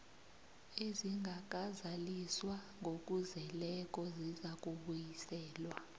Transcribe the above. ezingakazaliswa ngokuzeleko zizakubuyiselwa